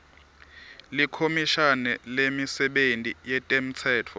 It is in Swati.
likhomishani lemisebenti yetemtsetfo